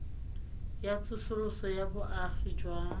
ya tsosoloso ya boagi jwa